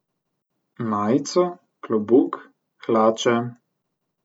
Majico, klobuk, hlače.